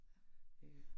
Øh